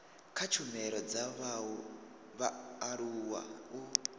kha tshumelo dza vhaaluwa u